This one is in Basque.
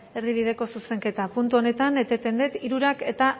erdibideko zuzenketa puntu honetan eteten dut hirurak eta